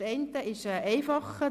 Das eine ist einfacher;